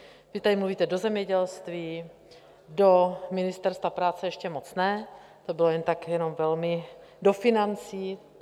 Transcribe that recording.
Vy tady mluvíte do zemědělství, do ministerstva práce ještě moc ne, to bylo jen tak jenom velmi..., do financí.